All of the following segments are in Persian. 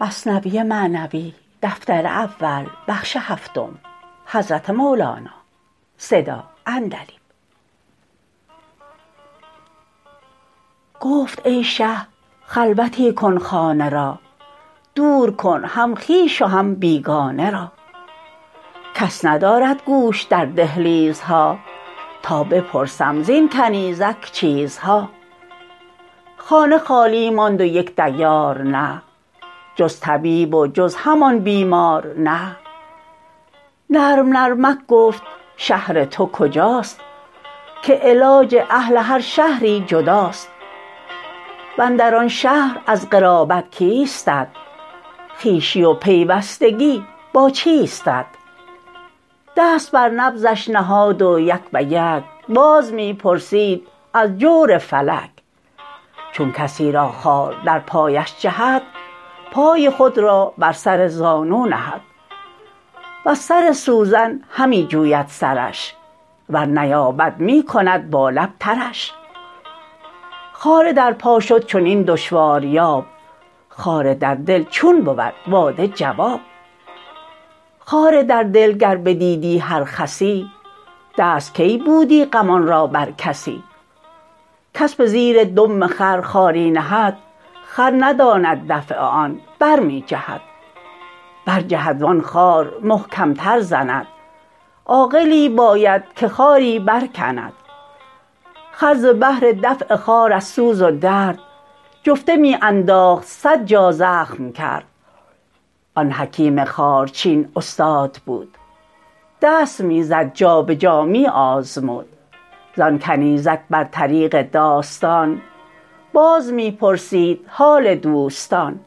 گفت ای شه خلوتی کن خانه را دور کن هم خویش و هم بیگانه را کس ندارد گوش در دهلیزها تا بپرسم زین کنیزک چیزها خانه خالی ماند و یک دیار نه جز طبیب و جز همان بیمار نه نرم نرمک گفت شهر تو کجاست که علاج اهل هر شهری جداست واندر آن شهر از قرابت کیستت خویشی و پیوستگی با چیستت دست بر نبضش نهاد و یک بیک باز می پرسید از جور فلک چون کسی را خار در پایش جهد پای خود را بر سر زانو نهد وز سر سوزن همی جوید سرش ور نیابد می کند با لب ترش خار در پا شد چنین دشواریاب خار در دل چون بود وا ده جواب خار در دل گر بدیدی هر خسی دست کی بودی غمان را بر کسی کس به زیر دم خر خاری نهد خر نداند دفع آن برمی جهد برجهد وان خار محکم تر زند عاقلی باید که خاری برکند خر ز بهر دفع خار از سوز و درد جفته می انداخت صد جا زخم کرد آن حکیم خارچین استاد بود دست می زد جابجا می آزمود زان کنیزک بر طریق داستان باز می پرسید حال دوستان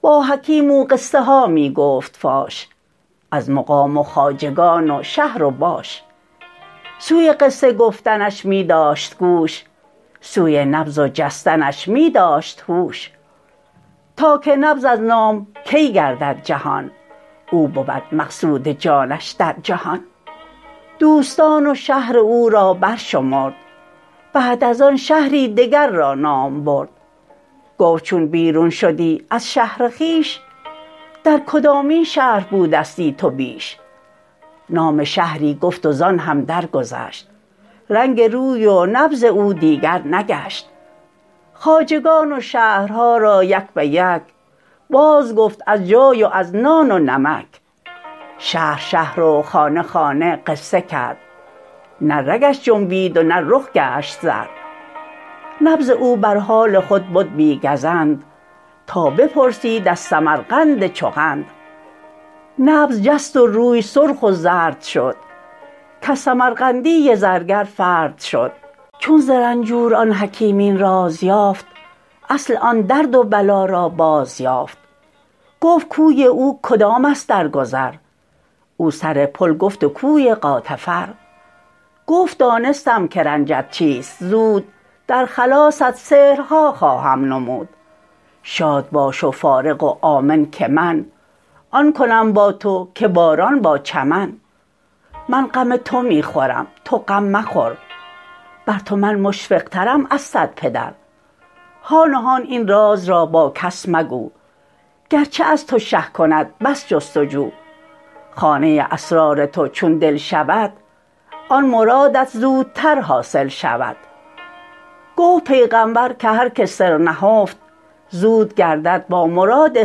با حکیم او قصه ها می گفت فاش از مقام و خواجگان و شهر و باش سوی قصه گفتنش می داشت گوش سوی نبض و جستنش می داشت هوش تا که نبض از نام کی گردد جهان او بود مقصود جانش در جهان دوستان و شهر او را برشمرد بعد از آن شهری دگر را نام برد گفت چون بیرون شدی از شهر خویش در کدامین شهر بودستی تو بیش نام شهری گفت و زان هم درگذشت رنگ روی و نبض او دیگر نگشت خواجگان و شهرها را یک بیک باز گفت از جای و از نان و نمک شهر شهر و خانه خانه قصه کرد نه رگش جنبید و نه رخ گشت زرد نبض او بر حال خود بد بی گزند تا بپرسید از سمرقند چو قند نبض جست و روی سرخ و زرد شد کز سمرقندی زرگر فرد شد چون ز رنجور آن حکیم این راز یافت اصل آن درد و بلا را باز یافت گفت کوی او کدام است در گذر او سر پل گفت و کوی غاتفر گفت دانستم که رنجت چیست زود در خلاصت سحرها خواهم نمود شاد باش و فارغ و آمن که من آن کنم با تو که باران با چمن من غم تو می خورم تو غم مخور بر تو من مشفق ترم از صد پدر هان و هان این راز را با کس مگو گرچه از تو شه کند بس جست و جو خانه اسرار تو چون دل شود آن مرادت زودتر حاصل شود گفت پیغامبر که هر که سر نهفت زود گردد با مراد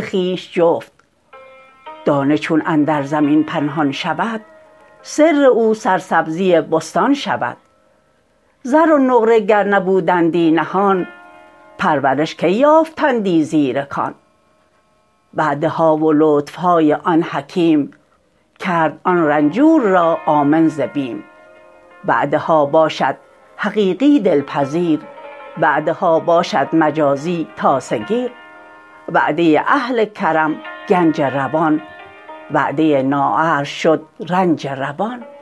خویش جفت دانه چون اندر زمین پنهان شود سر او سرسبزی بستان شود زر و نقره گر نبودندی نهان پرورش کی یافتندی زیر کان وعده ها و لطف های آن حکیم کرد آن رنجور را آمن ز بیم وعده ها باشد حقیقی دل پذیر وعده ها باشد مجازی تاسه گیر وعده اهل کرم گنج روان وعده نااهل شد رنج روان